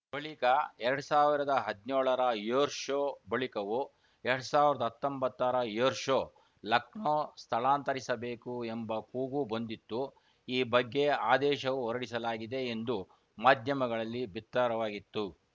ಬಳಿಕ ಎರಡ್ ಸಾವಿರದ ಹದಿನೇಳರ ಏರ್‌ಶೋ ಬಳಿಕವೂ ಎರಡ್ ಸಾವಿರದ ಹತ್ತೊಂಬತ್ತರ ಏರ್‌ಶೋ ಲಕ್ನೋ ಸ್ಥಳಾಂತರಿಸಬೇಕು ಎಂಬ ಕೂಗು ಬಂದಿತ್ತು ಈ ಬಗ್ಗೆ ಆದೇಶವೂ ಹೊರಡಿಸಲಾಗಿದೆ ಎಂದು ಮಾಧ್ಯಮಗಳಲ್ಲಿ ಬಿತ್ತರವಾಗಿತ್ತು